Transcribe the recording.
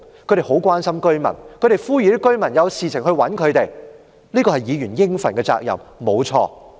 她們很關心居民，呼籲居民有事便找她們，這的確是議員應盡的責任。